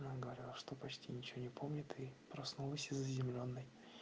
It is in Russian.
на гараж что почти ничего не помню и проснулся зеленной